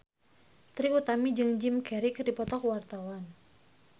Trie Utami jeung Jim Carey keur dipoto ku wartawan